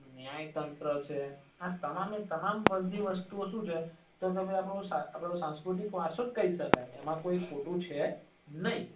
ન્યાય તંત્ર છે આ તમામે તમામ બધી વસ્તુઓ સુ છ તો તમે આને સાંસ્કૃતિક વારસો કઇ સકાય તો એમાં કઇ ખોટુ છે નઈ